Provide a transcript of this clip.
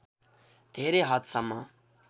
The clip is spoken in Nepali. धेरै हद सम्म